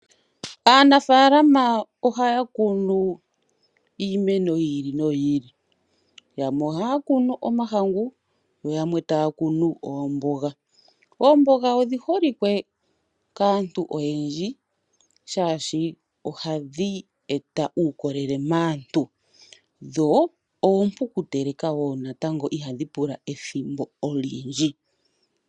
Aanafalama ohaya kunu iimeno yiili noyiili , yamwe ohaya kunu omahangu noyamwe taya kunu oomboga. Oomboga odhiholike kaantu oyendji shaashi ohadhi eta uukolele maantu, yo ompu okuteleka woo natango, shaashi ihadhi pula ethimbo olyindji.